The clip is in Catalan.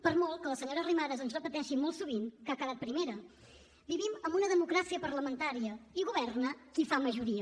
per molt que la senyora arrimadas ens repeteixi molt sovint que ha quedat primera vivim en una democràcia parlamentària i governa qui fa majoria